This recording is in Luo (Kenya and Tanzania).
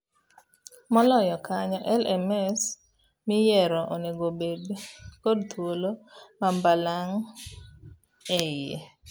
Moloyo kanyo, LMS miyiero onego obed kod thuolo ma balang' eiye.